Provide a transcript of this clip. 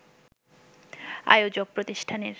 আয়োজক প্রতিষ্ঠানের